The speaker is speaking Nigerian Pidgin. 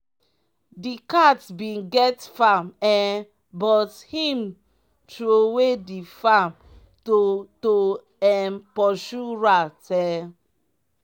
di cat bin get farm um but him trowe the farm to to um pursue rat um